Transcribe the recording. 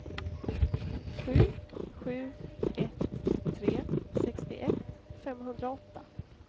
sju sju ett tre sextioett femhundraåtta